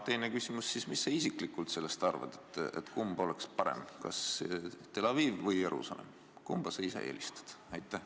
Teine küsimus: mis sa isiklikult arvad, kumb oleks parem, kas Tel Aviv või Jeruusalemm, kumba sa ise eelistad?